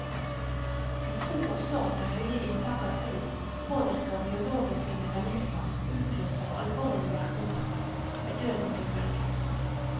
De tror også at det høye inntaket av øl påvirker biologiske mekanismer som utløser alvorlig hjerteinfarkt med døden til følge.